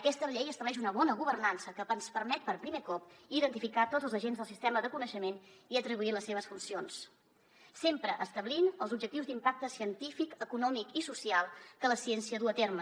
aquesta llei estableix una bona governança que ens permet per primer cop identificar tots els agents del sistema de coneixement i atribuir les seves funcions sempre establint els objectius d’impacte científic econòmic i social que la ciència du a terme